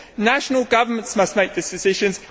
National governments must make these decisions.